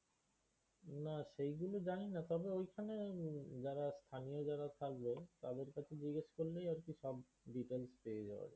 না, সেইগুলো জানিনা তবে ঐখানে জারা স্থানীয় জারা থাকবে তাদের কাছে জিজ্ঞেস করলেই আর কি সব details পেয়ে যাওয়া যাবে।